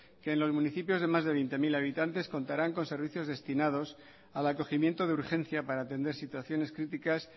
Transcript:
que en los municipios de más de veinte mil habitantes contarán con servicios destinados al acogimiento de urgencia para atender situaciones críticas